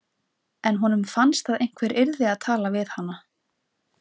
En honum fannst að einhver yrði að tala við hana.